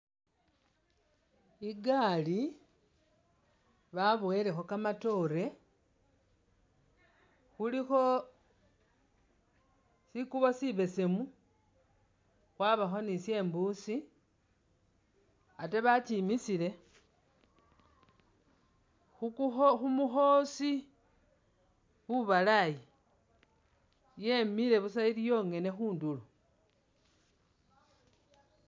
Igaali baboyelekho kamatoore khulikho sikuubo shibeseemu khwabaakho ne shembusi, ate bakimisiile khumu khukukhoosi kubalaayi, yemile busa ili yongene khundulo.